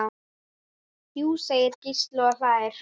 Jú segir Gísli og hlær.